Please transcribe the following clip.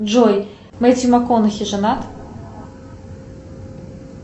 джой мэтью макконахи женат